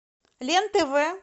лен тв